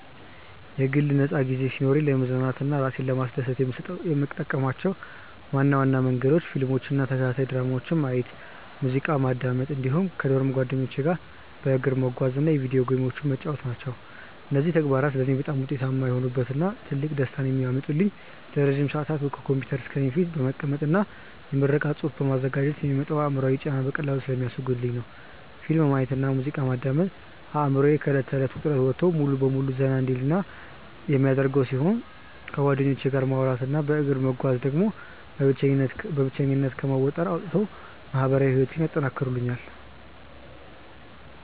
የግል ነፃ ጊዜ ሲኖረኝ ለመዝናናት እና እራሴን ለማስደሰት የምጠቀምባቸው ዋና ዋና መንገዶች ፊልሞችን እና ተከታታይ ድራማዎችን ማየት፣ ሙዚቃ ማዳመጥ እንዲሁም ከዶርም ጓደኞቼ ጋር በእግር መጓዝ እና የቪዲዮ ጌሞችን መጫወት ናቸው። እነዚህ ተግባራት ለእኔ በጣም ውጤታማ የሆኑበት እና ትልቅ ደስታን የሚያመጡልኝ ለረጅም ሰዓታት ከኮምፒውተር ስክሪን ፊት በመቀመጥ እና የምረቃ ፅሁፍ በማዘጋጀት የሚመጣውን አእምሯዊ ጫና በቀላሉ ስለሚያስወግዱልኝ ነው። ፊልም ማየት እና ሙዚቃ ማዳመጥ አእምሮዬ ከእለት ተእለት ውጥረት ወጥቶ ሙሉ በሙሉ ዘና እንዲል የሚያደርጉ ሲሆን፣ ከጓደኞቼ ጋር ማውራት እና በእግር መጓዝ ደግሞ በብቸኝነት ከመወጠር አውጥተው ማህበራዊ ህይወቴን ያጠናክሩልኛል።